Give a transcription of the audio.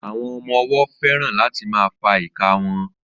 Àwọn ọmọ ọwọ́ fẹ́ràn láti máa fa ìka wọn